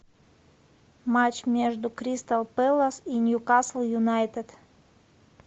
матч между кристал пэлас и ньюкасл юнайтед